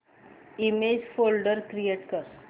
image folder create कर